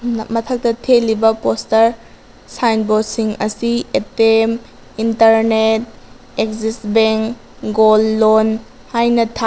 ꯃꯊꯛꯠꯇ ꯊꯦꯠꯂꯤꯕ poster signboard ꯁꯤꯡ ꯑꯁꯤ ATM internet Axis bank gold loan ꯍꯥꯏꯅ ꯊꯥ꯫